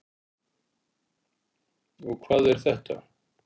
Og hvað er þetta?